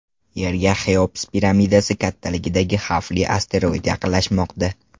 Yerga Xeops piramidasi kattaligidagi xavfli asteroid yaqinlashmoqda.